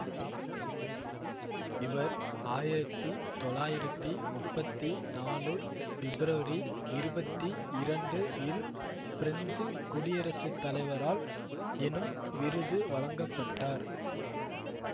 இவர் ஆயிரத்தி தொளாயிரத்தி முப்பத்தி நாலு ஃபிப்ரவரி இருபத்தி இரண்டு இல் ஃபிரெஞ்சு குடியரசு தலைவரால் எனும் விருது வழங்கப்பட்டார்